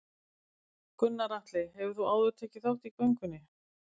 Gunnar Atli: Hefur þú áður tekið þátt í göngunni?